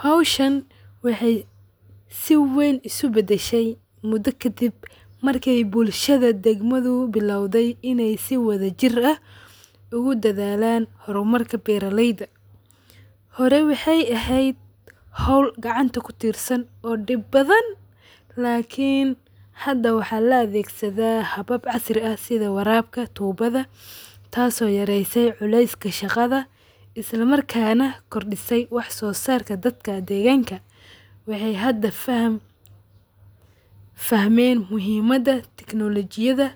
Howshan wexey sii ween isubashay mudo kadib markey bulshada degmada bilowdey iney sii wada jir ah udadalan hormarka beraleyda horey wexey eheed howl gacanta kudirsan oo dib badan lakin hda waxa laadegsada habab casri ah sida warabka tubada taso yareysey culeska shaqada islamrka kordise waxsosarka dadka deganka wexey hda fahmeen muhiimada teknolojiyada